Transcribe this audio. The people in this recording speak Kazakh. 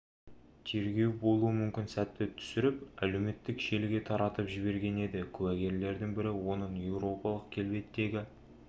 тергеу болуы мүмкін сәтті түсіріп әлеуметтік желіге таратып жіберген еді куәгерлердің бірі оның еуропалық келбеттегі